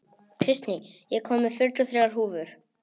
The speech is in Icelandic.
Kristný, ég kom með fjörutíu og þrjár húfur!